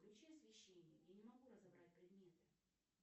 включи освещение я не могу разобрать предметы